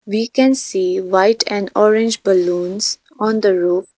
We can see white and orange balloons on the roof .